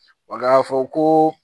k'a fɔ ko